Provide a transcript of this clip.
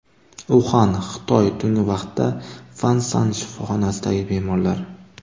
Uxan, Xitoy Tungi vaqtda Fansan shifoxonasidagi bemorlar.